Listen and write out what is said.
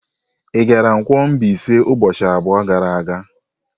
Ị gara Nkwo-Mbaise ụbọchị abụọ gara aga?